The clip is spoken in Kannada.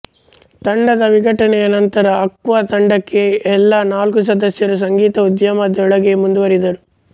ತಂಡದ ವಿಘಟನೆಯ ನಂತರ ಆಕ್ವಾ ತಂಡದ ಎಲ್ಲಾ ನಾಲ್ಕೂ ಸದಸ್ಯರು ಸಂಗೀತ ಉದ್ಯಮದೊಳಗೇ ಮುಂದುವರಿದರು